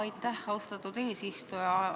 Aitäh, austatud eesistuja!